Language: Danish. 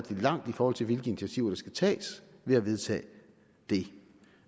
langt i forhold til hvilke initiativer der skal tages ved at vedtage det